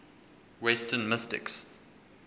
western mystics